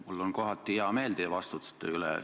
Mul on kohati hea meel teie vastuste üle.